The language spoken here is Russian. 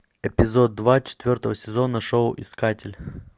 эпизод два четвертого сезона шоу искатель